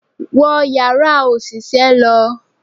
Wo Ìyàrá òṣìṣẹ́ lọ!